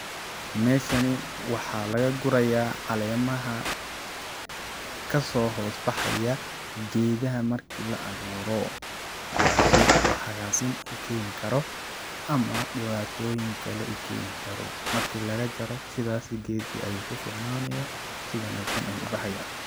Meshani waxa lagagurayah calemaha kaso hosbaxayah gedaha marki laa aburo, kuwasi oo hagasin u keni karo ama dibatoyin kale ukeni karo, marki lagajaro sidhas gedka ayu kuficnaniyah si wanagsan ayu ubaxaya.